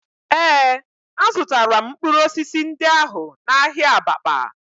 Ee, azụtara m mkpụrụ osisi ndị ahụ n'ahịa Abakpa